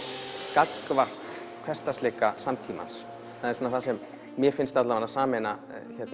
gagnvart hversdagsleika samtímans það er það sem mér finnst sameina